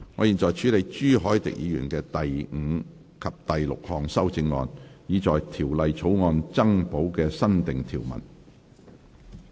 現在處理朱凱廸議員的第五及六項修正案，以在條例草案增補新訂條文。